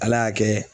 Ala y'a kɛ